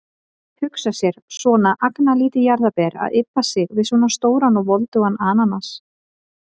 Hugsa sér, svona agnarlítið jarðarber að ybba sig við svona stóran og voldugan ananas.